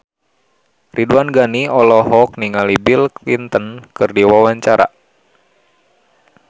Ridwan Ghani olohok ningali Bill Clinton keur diwawancara